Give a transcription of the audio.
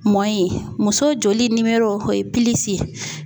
ye muso joli o ye ye.